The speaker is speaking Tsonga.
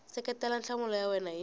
seketela nhlamulo ya wena hi